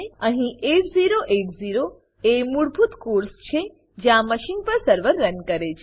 અહીં 8080 એ મૂળભૂત કોર્સ છે જ્યાં મશીન પર સર્વર રન કરે છે